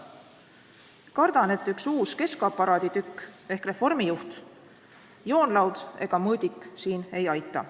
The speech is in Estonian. Kardan, et üks uus keskaparaadi tükk ehk reformijuht, joonlaud ega mõõdik siin ei aita.